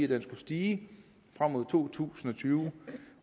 den skulle stige frem mod år to tusind og tyve